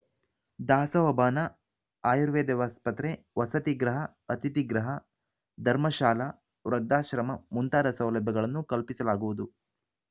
ದಾಸೋಹ ಭವನ ಆಯುರ್ವೇದ ಆಸ್ಪತ್ರೆ ವಸತಿ ಗೃಹ ಅತಿಥಿಗೃಹ ಧರ್ಮಶಾಲ ವೃದ್ಧಾಶ್ರಮ ಮುಂತಾದ ಸೌಲಭ್ಯಗಳನ್ನು ಕಲ್ಪಿಸಲಾಗುವುದು